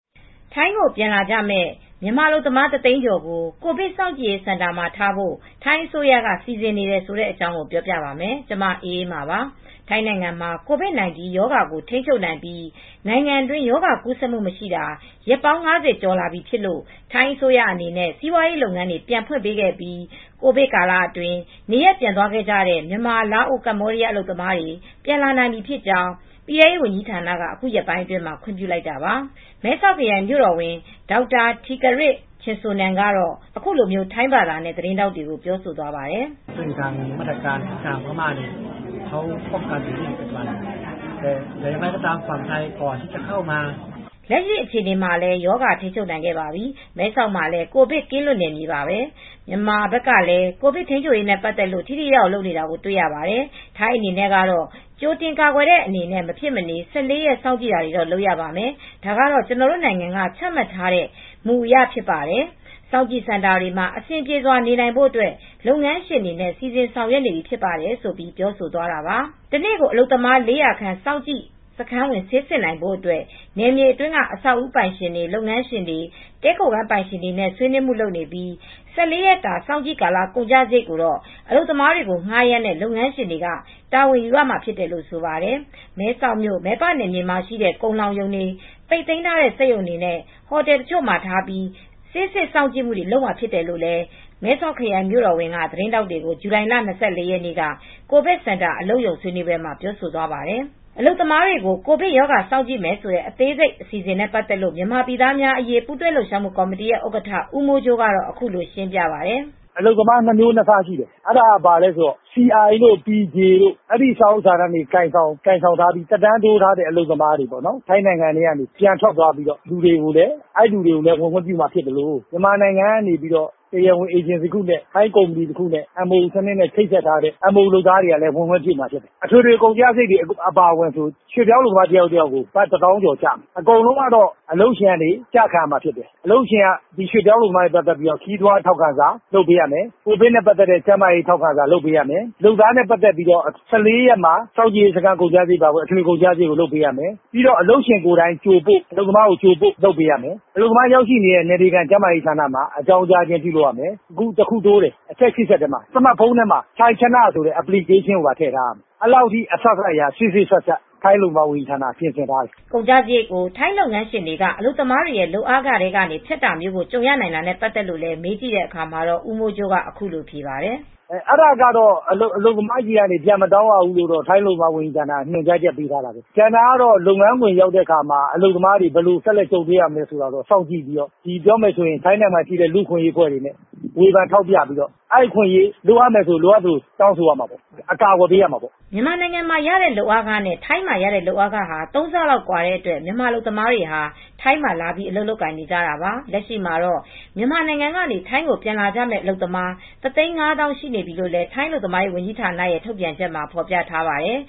ထိုင်းကိုပြန်လာကြမယ့် မြန်မာအလုပ်သမား ၁၀၀,၀၀၀ ကျော်ကို ကိုဗစ် စောင့်ကြည့်စင်တာတွေမှာထားဖို့ ထိုင်းအစိုးရက စီစဉ်နေပါတယ်။ အပြည့်အစုံကို ထိုင်းအခြေစိုက် ဗွီအိုအေ မြန်မာပိုင်း သတင်းထောက် မအေးအေးမာ တင်ပြပေးထားပါတယ်။ ထိုင်းနိုင်ငံမှာ COVID-19 ရောဂါကို ထိန်းချုပ်နိုင်ပြီး နိုင်ငံအတွင်း ရောဂါကူးဆက်မှု မရှိတာ ရက်ပေါင်း ၅၀ ကျော်လာပြီဖြစ်လို့ ထိုင်းအစိုးရအနေနဲ့ စီးပွားရေး လုပ်ငန်းတွေ ပြန်ဖွင့်ပေးခဲ့ပြီး ကိုဗစ်ကာလအတွင်း နေရပ်ပြန်သွားခဲ့ကြတဲ့ မြန်မာ၊ လာအို၊ ကမ္ဘောဒီးယား အလုပ်သမားတွေ ပြန်လာနိုင်ပြီဖြစ်ကြောင်း ပြည်ထဲရေး ဝန်ကြီးဌာနက အခုရက်ပိုင်းအတွင်းမှာ ခွင့်ပြုလိုက်တာပါ။ မဲဆောက်ခရိုင် မြို့တော်ဝန် Dr. Terdkiat Chinsornan ကတော့ သတင်းထောက်တွေကို ထိုင်းဘာသာနဲ့ အခုလိုပြောသွားပါတယ်။ “လက်ရှိအခြေအနေမှာလည်း ရောဂါထိန်းချုပ်နိုင်ပြီ။ မဲဆောက်မှာလည်း ကိုဗစ်ကင်းလွတ်နယ်မြေပါပဲ။ မြန်မာဘက်ကလည်း ကိုဗစ်ထိန်းချုပ်ရေးနဲ့ ပတ်သက်လို့ ထိထိရောက်ရောက် လုပ်နေတာ တွေ့ရပါတယ်။ ထိုင်းနိုင်ငံအနေနဲ့ကတော့ ကြိုတင်ကာကွယ်တဲ့ အနေနဲ့ မဖြစ်မနေ ၁၄ ရက် စောင့်ကြည့်တာတော့ လုပ်ရပါမယ်။ ဒါကတော့ ကျနော်တို့နိုင်ငံက ချမှတ်ထားတဲ့ မူအရ ဖြစ်ပါတယ်။ စောင့်ကြည့်စင်တာတွေမှာ အဆင်ပြေစွာ နေနိုင်ဖို့ လုပ်ငန်းရှင်တွေနဲ့ စီစဉ်ဆောင်ရွက်နေပြီ ဖြစ်ပါတယ်။” တနေ့ကို အလုပ်သမား ၄၀၀ စောင့်ကြည့်စခန်းဝင် ဆေးစစ်နိုင်ဖို့အတွက် နယ်မြေအတွင်းက အဆောက်အဦပိုင်ရှင်တွေ၊ လုပ်ငန်းရှင်တွေ၊ တည်းခိုခန်းပိုင်ရှင်တွေနဲ့ ဆွေးနွေးမှုလုပ်နေပြီး ၁၄ ရက်ကြာ စောင့်ကြည့်ကာလ ကုန်ကျစရိတ်ကို အလုပ်သမားတွေကို ငှားရမ်းတဲ့ လုပ်ငန်းရှင်တွေက တာဝန်ယူရမှာလို့လည်း ဆိုပါတယ်။ မဲဆောက်မြို့ မယ်ပနယ်မြေမှာရှိတဲ့ ကုန်လှောင်ရုံတွေ၊ ပိတ်သိမ်းထားတဲ့ စက်ရုံတွေနဲ့ ဟိုတယ်တချို့မှာထားပြီး ဆေးစစ်စောင့်ကြည့်မှုတွေ လုပ်မှာဖြစ်တယ်လို့ မဲဆောက်ခရိုင် မြို့တော်ဝန် Dr. Terdkiat Chinsornan က သတင်းထောက်တွေကို ဇူလိုင်လ ၂၄ ရက်နေ့ ကိုဗစ်စင်တာ အလုပ်ရုံဆွေးနွေးပွဲမှာ ပြောသွားပါတယ်။ အလုပ်သမားတွေကို ကိုဗစ်ရောဂါ စောင့်ကြည့်မယ့် အစီအစဉ် အသေးစိတ်ကို မြန်မာပြည်သားများအရေး ပူးတွဲလှုပ်ရှားမှု ကော်မတီ ဥက္ကဋ္ဌ ဦးမိုးကြိုးက အခုလို ရှင်းပြပါတယ်။ “MOU နဲ့ ပြန်ဝင်လာကြမယ့် နိုင်ငံခြားသား အလုပ်သမား နှစ်သန်းကျော်၊ အလုပ်သမား နှစ်မျိုးနှစ်စားရှိတယ်။ CI တို့ PJ စာအုပ်စာတမ်း ကိုင်ဆောင်ပြီး သက်တမ်းတိုးထားတဲ့ ထိုင်းနိုင်ငံက ပြန်သွားတဲ့ သူတို့ကိုလည်း ပြန်ဝင်ခွင့်ပြုမှာ ဖြစ်သလို မြန်မာနိုင်ငံက တရားဝင်အေဂျင်စီ ထိုင်းအေဂျင်စီတို့နဲ့ အလုပ်လုပ်ကြမယ့် MOU ဝင်ကြမယ့်သူတွေကို ခွင့်ပြုပေးမှာဖြစ်တယ်။ အထွေထွေကုန်ကျစရိတ်က ရွှေ့ပြောင်းအလုပ်သမား တယောက်ကို ဘတ် ၁၀,၀၀၀ ကျော် ကျမယ်။ အကုန်လုံး အလုပ်ရှင်က ကျခံရမယ်။ “အလုပ်ရှင်က အလုပ်သမားနဲ့ ပတ်သက်တဲ့ ခရီးသွားထောက်ခံစာ၊ ကိုဗစ်နဲ့ပတ်သက်တဲ့ ကျန်းမာရေး ထောက်ခံစာ လုပ်ပေးရမယ်။ လုပ်သားတွေရဲ့ ၁၄ ရက်စာ စောင့်ကြည့် ကုန်ကျစရိတ် လုပ်ပေးရမယ်။ အလုပ်သမားတွေကို အလုပ်ရုံရောက်တဲ့အထိ ကြိုပို့လုပ်ပေးရမယ်။ နောက်ဆုံးအချက်တချက် တိုးတယ်၊ စမတ်ဖုန်းတွေမှာ ထိုင်ချနလို့ခေါ်တဲ့ Application ထည့်ထားရမယ်။ ထိုင်းအလုပ်သမားဝန်ကြီးဌာနက အဲဒီလို စေ့စေ့စပ်စပ် လုပ်ထားတယ်။” ကုန်ကျစရိတ်ကို ထိုင်းလုပ်ငန်းရှင်တွေက အလုပ်သမားတွေရဲ့ လုပ်အားခတွေထဲက ဖြတ်တာမျိုးကို ကြုံရနိုင်တာနဲ့ ပတ်သက်လို့လည်း မေးကြည့်တဲ့အခါမှာတော့ ဦးမိုးကြိုးက အခုလိုဖြေပါတယ်။ “အလုပ်သမားတွေဆီက ပြန်မတောင်းရဘူးလို့ ထိုင်းအလုပ်သမားဝန်ကြီးဌာနက ညွှန်ကြားချက် ထုတ်ထားတယ်။ လုပ်ငန်းခွင်ကို ရောက်တဲ့အခါ အလုပ်သမားတွေ ဘယ်လိုကြုံတွေ့မလဲဆိုတာ အဲဒါကိုတော့ လူ့အခွင့်အရေး စောင့်ကြည့်တဲ့အဖွဲ့တွေက လိုအပ်သလို စောင့်ကြည့်ပြီး အကာအကွယ် ပေးရမှာပေါ့။” မြန်မာနိုင်ငံမှာရတဲ့ လုပ်အားခနဲ့ ထိုင်းမှာရတဲ့ လုပ်အားခဟာ ၃ ဆလောက် ကွာတဲ့အတွက် မြန်မာအလုပ်သမားတွေ ထိုင်းမှာ အလုပ်လာလုပ်ကြတာပါ။ လက်ရှိမှာတော့ မြန်မာနိုင်ငံကနေ ထိုင်းကို ပြန်လာကြမယ့် အလုပ်သမား ၁၅၀,၀၀၀ ရှိနေပြီလို့ ထိုင်းအလုပ်သမားရေးဌာနရဲ့ ထုတ်ပြန်ချက်မှာ ဖော်ပြထားပါတယ်